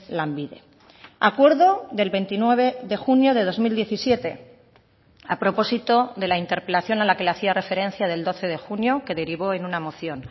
lanbide acuerdo del veintinueve de junio de dos mil diecisiete a propósito de la interpelación a la que le hacía referencia del doce de junio que derivó en una moción